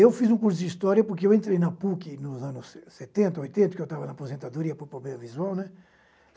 Eu fiz um curso de História porque eu entrei na PUC nos anos setenta, oitenta, que eu estava na aposentadoria por problema visual, né?